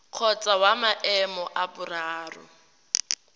kgotsa wa maemo a boraro